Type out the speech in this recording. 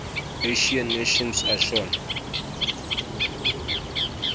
asian nations asean